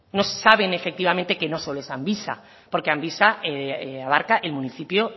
no se saben efectivamente que no solo es amvisa porque amvisa abarca el municipio